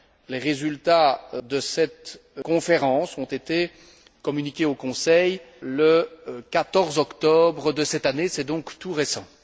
Les résultats de cette conférence ont été communiqués au Conseil le 14 octobre de cette année, c'est donc tout récent.